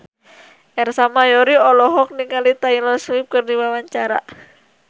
Ersa Mayori olohok ningali Taylor Swift keur diwawancara